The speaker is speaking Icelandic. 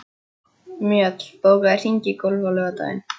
Mjöll, bókaðu hring í golf á laugardaginn.